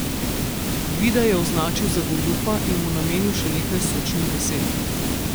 Gvida je označil za goljufa in mu namenil še nekaj sočnih besed.